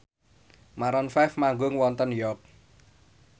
Maroon 5 manggung wonten York